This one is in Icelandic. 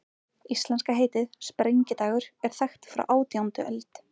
Íslenska heitið, sprengidagur, er þekkt frá átjándu öld.